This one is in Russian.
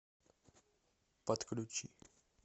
подключи